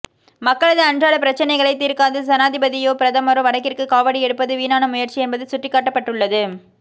மக்களது அன்றாடப்பிரச்சினைகளை தீர்க்காது சனாதிபதியோ பிரதமரோ வடக்கிற்கு காவடி எடுப்பது வீணான முயற்சி என்பது சுட்டிக்காட்டப்பட்டுள்ளது